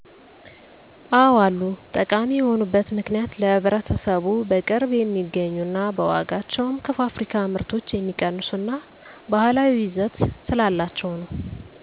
አዎ አሉ። ጠቃሚ የሆኑበት ምክንያት ለህብረተሰቡ በቅርብ የሚገኙ ና በዋጋቸውም ከፋብሪካ ምርቶች የሚቀንሱ እና ባህላዊ ይዘት ስላላቸው ነው።